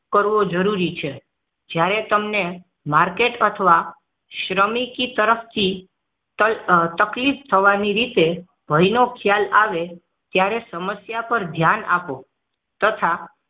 જરૂરી છે જ્યારે તમને માર્કેટ અથવા શ્રમિકી તરફથી તકલીફ થવાની રીતે ભયનો ખ્યાલ આવે ત્યારે સમસ્યા પર ધ્યાન આપો તથા